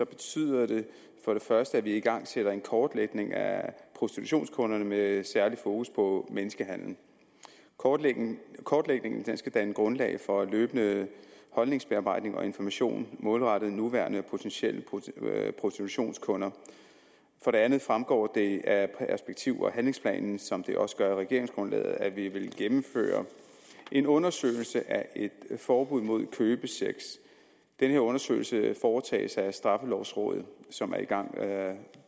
betyder det for det første at vi igangsætter en kortlægning af prostitutionskunderne med særligt fokus på menneskehandel kortlægningen kortlægningen skal danne grundlag for løbende holdningsbearbejdning og information målrettet nuværende og potentielle prostitutionskunder for det andet fremgår det af perspektiv og handlingsplanen som det også gør af regeringsgrundlaget at vi vil gennemføre en undersøgelse af et forbud mod købesex den undersøgelse foretages af straffelovrådet som er i gang